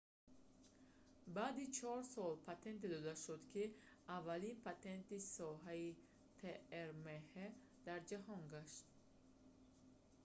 баъди чор сол патенте дода шуд ки аввалин патенти соҳаи трмҳ тасвири резонансии магнитии ҳастаӣ дар ҷаҳон гашт